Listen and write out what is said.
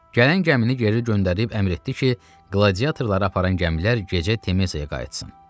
Gələn gəmini geri göndərib əmr etdi ki, qladiatorları aparan gəmilər gecə Temesiyaya qayıtsın.